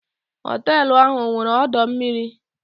Họtelu ahụ ọ nwere ọdọ mmiri?